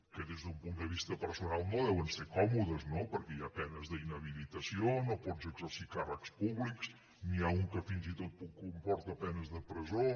que des d’un punt de vista personal no deuen ser còmodes no perquè hi ha penes d’inhabilitació no pots exercir càrrecs públics n’hi ha un que fins i tot comporta penes de presó